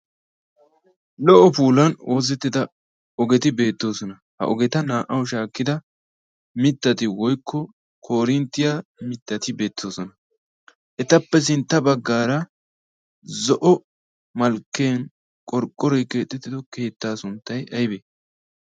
Lo"o puulan oosettida ogeti beettoosona. Ha ogeta naa"awu shaakkida mittati woykko koorinttiyaa mittati beettoosona. Etappe sintta baggaara zo'o malkkiyaan qorqqoroy keexettido keettaa sunttay aybee?